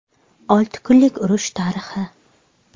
Olti kunlik urush tarixi.